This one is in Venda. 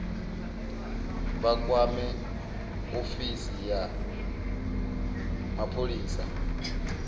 vha kwame ofisi ya mapholisa